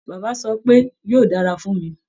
Bàbá sọ wípé "yóò dára fún mí".